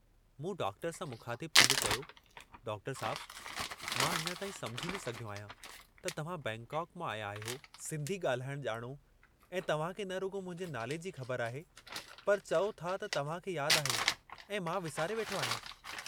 मूं डॉक्टर सां मुख़ातिबु थींदे चयो, डॉक्टर साहिब मां अञा ताईं समुझी न सघियो आहियां त तव्हां बैंकाक मां आया आहियो, सिंधी ॻाल्हाइणु ॼाणो ऐं तव्हांखे न रुॻो मुंहिंजे नाले जी ख़बर आहे पर चओ था त तव्हां खे याद आहे ऐं मां विसारे वेठो आहियां?